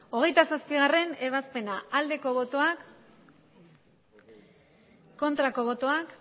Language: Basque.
hogeita zazpigarrena ebazpena bozka dezakegu aldeko botoak aurkako botoak